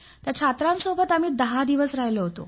त्या छात्रसैनिकांबरोबर आम्ही दहा दिवस राहिलो